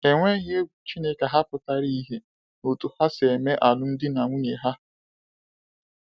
Enweghi egwu Chineke ha pụtara ìhè n’otú ha si eme alụmdi na nwunye ha.